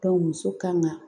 muso kan ka